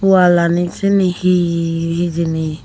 wall aanit sini he he hijeni.